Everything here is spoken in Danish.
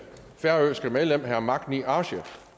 færøske medlem herre magni arge